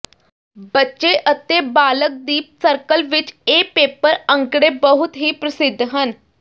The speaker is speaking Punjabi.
ਬੱਚੇ ਅਤੇ ਬਾਲਗ ਦੀ ਸਰਕਲ ਵਿਚ ਇਹ ਪੇਪਰ ਅੰਕੜੇ ਬਹੁਤ ਹੀ ਪ੍ਰਸਿੱਧ ਹਨ